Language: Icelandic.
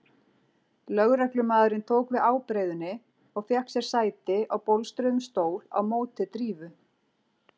Lögreglumaðurinn tók við ábreiðunni og fékk sér sæti á bólstruðum stól á móti Drífu.